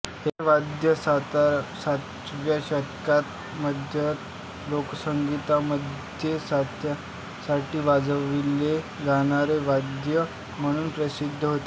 हे वाद्य सतराव्या शतकाच्या मध्यात लोकसंगीतामध्ये साथीसाठी वाजविले जाणारे वाद्य म्हणून प्रसिद्ध होते